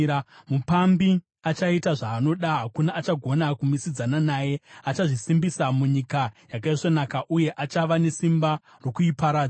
Mupambi achaita zvaanoda; hakuna achagona kumisidzana naye. Achazvisimbisa muNyika Yakaisvonaka uye achava nesimba rokuiparadza.